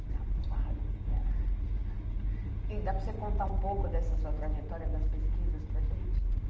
Tinha fases que era... E dá para você contar um pouco dessa sua trajetória das pesquisas para gente?